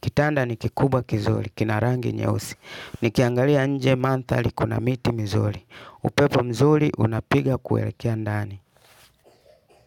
Kitanda ni kikubwa kizuri, kina rangi nyeusi, nikiangalia nje mandhari kuna miti mizuri, upepo mzuri unapiga kuelekea ndani.